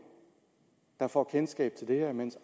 der får kendskab til det her mens